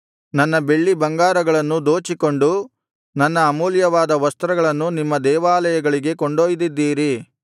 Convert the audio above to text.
ನನ್ನ ಬೆಳ್ಳಿ ಬಂಗಾರಗಳನ್ನು ದೋಚಿಕೊಂಡು ನನ್ನ ಅಮೂಲ್ಯವಾದ ವಸ್ತ್ರಗಳನ್ನು ನಿಮ್ಮ ದೇವಾಲಯಗಳಿಗೆ ಕೊಂಡೊಯ್ದಿದ್ದೀರಿ